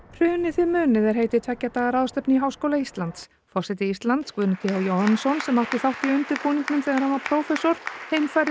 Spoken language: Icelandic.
hrunið þið munið er heiti tveggja daga ráðstefnu í Háskóla Íslands forseti Íslands Guðni t h Jóhannesson sem átti þátt í undirbúningnum þegar hann var prófessor